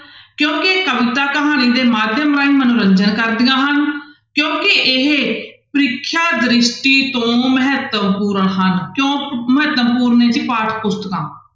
ਕਿਉਂਕਿ ਇਹ ਕਵਿਤਾ ਕਹਾਣੀ ਦੇ ਮਾਧਿਅਮ ਰਾਹੀਂ ਮਨੋਰੰਜਨ ਕਰਦੀਆਂ ਹਨ ਕਿਉਂਕਿ ਇਹ ਪ੍ਰੀਖਿਆ ਦ੍ਰਿਸ਼ਟੀ ਤੋਂ ਮਹੱਤਵਪੂਰਨ ਹਨ, ਕਿਉਂ ਮਹੱਤਵਪੂਰਨ ਹੈ ਜੀ ਪਾਠ ਪੁਸਤਕਾਂ?